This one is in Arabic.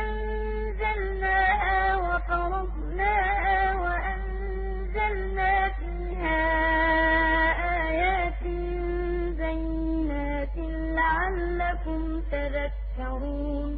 أَنزَلْنَاهَا وَفَرَضْنَاهَا وَأَنزَلْنَا فِيهَا آيَاتٍ بَيِّنَاتٍ لَّعَلَّكُمْ تَذَكَّرُونَ